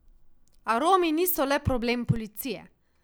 A Romi niso le problem policije.